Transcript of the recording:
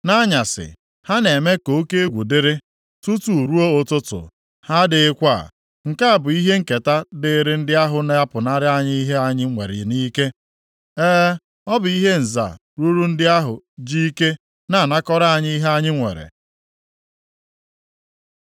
Nʼanyasị, ha na-eme ka oke egwu dịrị, tutu ruo ụtụtụ, ha adịghịkwa. Nke a bụ ihe nketa dịịrị ndị ahụ na-apụnara anyị ihe anyị nwere nʼike. E, ọ bụ ihe nza ruru ndị ahụ ji ike na-anakọrọ anyị ihe anyị nwere.